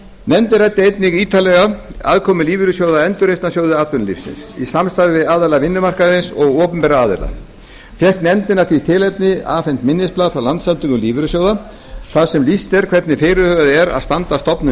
nefndin ræddi einnig ítarlega aðkomu lífeyrissjóða að endurreisnarsjóði atvinnulífsins í samstarfi við aðila almenna vinnumarkaðarins og opinbera aðila fékk nefndin af því tilefni afhent minnisblað frá landssamtökum lífeyrissjóða þar sem lýst er hvernig fyrirhugað er að standa að stofnun